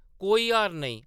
कोई हार्न नेईं ।